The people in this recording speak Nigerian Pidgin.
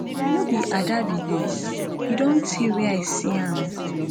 no be ada be dis e don tey wey i see am